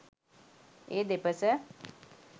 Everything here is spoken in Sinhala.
ඒ දෙපස